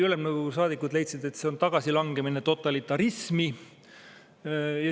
Ülemnõukogu saadikud leidsid, et see on tagasilangemine totalitarismi.